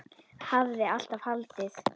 Hafði alltaf haldið.